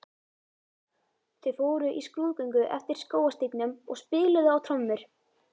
Þau fóru í skrúðgöngu eftir skógarstígnum og spiluðu á trommur.